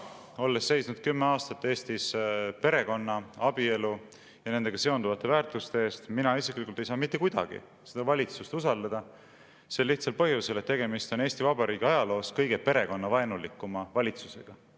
Olles seisnud 10 aastat Eestis perekonna, abielu ja nendega seonduvate väärtuste eest, mina isiklikult ei saa mitte kuidagi seda valitsust usaldada, sel lihtsal põhjusel, et tegemist on Eesti Vabariigi ajaloos kõige perekonnavaenulikuma valitsusega.